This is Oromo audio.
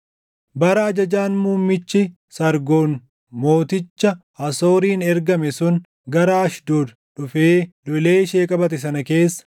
Bara ajajaan muummichi Sargoon mooticha Asooriin ergame sun gara Ashdood dhufee lolee ishee qabate sana keessa,